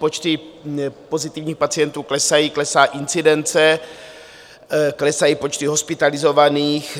Počty pozitivních pacientů klesají, klesá incidence, klesají počty hospitalizovaných.